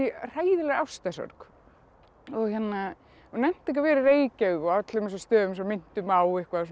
hræðilegri ástarsorg og nennti ekki að vera í Reykjavík og öllum þessum stöðum sem minntu mig á eitthvað